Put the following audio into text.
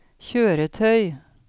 kjøretøy